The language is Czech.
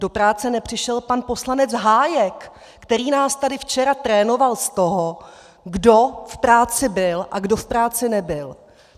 Do práce nepřišel pan poslanec Hájek, který nás tady včera trénoval z toho, kdo v práci byl a kdo v práci nebyl.